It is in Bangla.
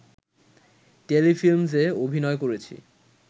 টেলিফিল্মসে অভিনয় করেছি